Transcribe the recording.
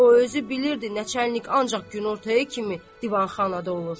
O özü bilirdi naçarnik ancaq günortaya kimi divanxanada olur.